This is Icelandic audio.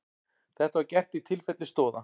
Þetta var gert í tilfelli Stoða